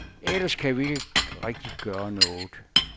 Ellers kan vi ikke rigtig gøre noget.